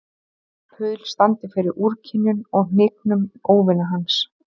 Paul standi fyrir úrkynjun og hnignun óvina hans.